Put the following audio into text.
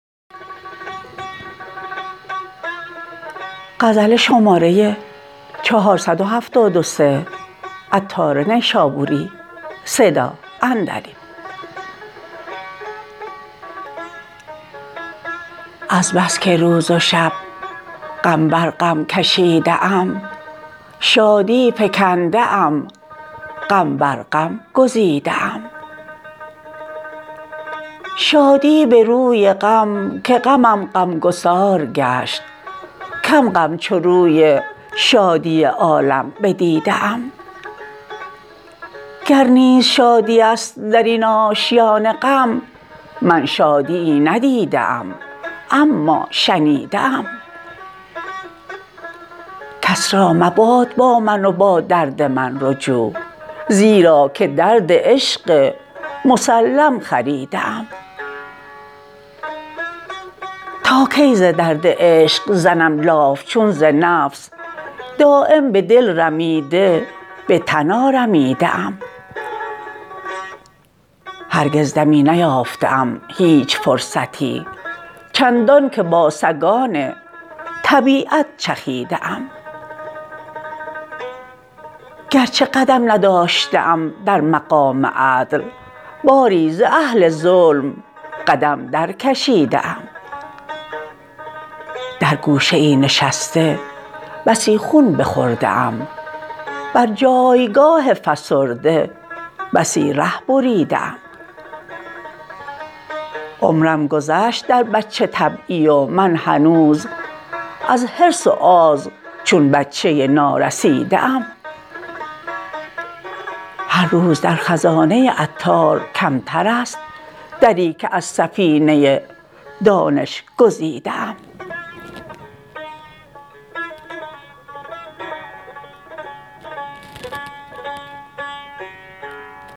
از بس که روز و شب غم بر غم کشیده ام شادی فکنده ام غم بر غم گزیده ام شادی به روی غم که غمم غمگسار گشت کم غم چو روی شادی عالم بدیده ام گر نیز شادی است درین آشیان غم من شادیی ندیده ام اما شنیده ام کس را مباد با من و با درد من رجوع زیرا که درد عشق مسلم خریده ام تا کی ز درد عشق زنم لاف چون ز نفس دایم به دل رمیده به تن آرمیده ام هرگز دمی نیافته ام هیچ فرصتی چندانکه با سگان طبیعت چخیده ام گرچه قدم نداشته ام در مقام عدل باری ز اهل ظلم قدم در کشیده ام در گوشه ای نشسته بسی خون بخورده ام بر جایگه فسرده بسی ره بریده ام عمرم گذشت در بچه طبعی و من هنوز از حرص و آز چون بچه نا رسیده ام هر روز در خزانه عطار کمتر است دری که از سفینه دانش گزیده ام